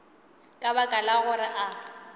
ka baka la gore a